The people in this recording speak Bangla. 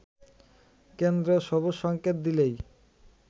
কেন্দ্র সবুজ সংকেত দিলেই